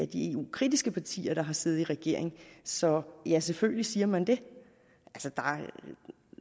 de eu kritiske partier der har siddet i regering så ja selvfølgelig siger man det